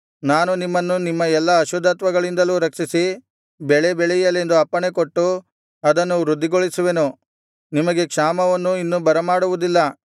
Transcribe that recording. ನಾನು ನಿಮ್ಮನ್ನು ನಿಮ್ಮ ಎಲ್ಲಾ ಅಶುದ್ಧತ್ವಗಳಿಂದಲೂ ರಕ್ಷಿಸಿ ಬೆಳೆ ಬೆಳೆಯಲೆಂದು ಅಪ್ಪಣೆಕೊಟ್ಟು ಅದನ್ನು ವೃದ್ಧಿಗೊಳಿಸುವೆನು ನಿಮಗೆ ಕ್ಷಾಮವನ್ನು ಇನ್ನು ಬರಮಾಡುವುದಿಲ್ಲ